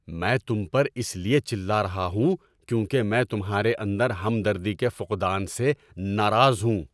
میں تم پر اس لیے چلا رہا ہوں کیونکہ میں تمہارے اندر ہمدردی کے فقدان سے ناراض ہوں۔